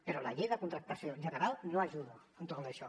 però la llei de contractació general no ajuda en tot això